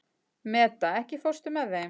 Meda, ekki fórstu með þeim?